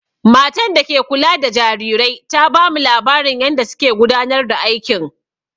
Matan da ke kula da jarirai ta bamu labarin yanda suke gudanar da aikin.